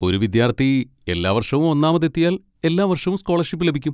ഒരു വിദ്യാർത്ഥി എല്ലാ വർഷവും ഒന്നാമതെത്തിയാൽ, എല്ലാ വർഷവും സ്കോളർഷിപ്പ് ലഭിക്കും.